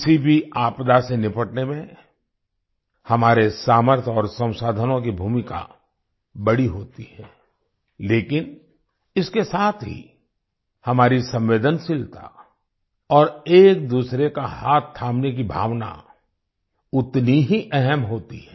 किसी भी आपदा से निपटने में हमारे सामर्थ्य और संसाधनों की भूमिका बड़ी होती है लेकिन इसके साथ ही हमारी संवेदनशीलता और एक दूसरे का हाथ थामने की भावना उतनी ही अहम होती है